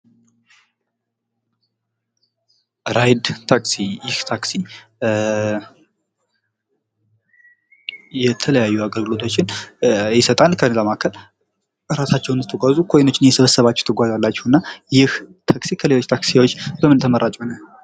ራይድ ታክሲ ይህ ታክሲ የተለያዩ አገልግሎቶችን ይሰጣል ከዛ መካከል እራሳቸውን ስትጓዙ ኮይኖችን እየሰበሰባችሁ ትጓዛላችሁ። እና ይህ ታክሲ ከሌሎች ታክሲዎች በምን ተመራጭ ሆነ?